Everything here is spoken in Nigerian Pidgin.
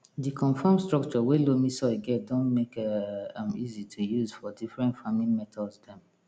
di confam stucture wey loamy soil get don make um am easy to use for different farming methods dem